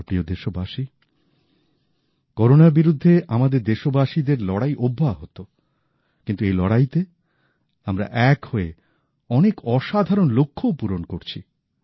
আমার প্রিয় দেশবাসী করোনার বিরুদ্ধে আমাদের দেশবাসীদের লড়াই অব্যাহত কিন্তু এই লড়াইতে আমরা এক হয়ে অনেক অসাধারণ লক্ষ্যও পূরণ করছি